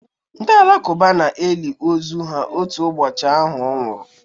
Ndị Alakụba na-eli ozu ha otu ụbọchị ahụ ọ nwụrụ